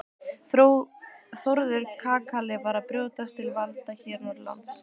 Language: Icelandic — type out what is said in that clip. Þórður kakali var að brjótast til valda hér norðanlands.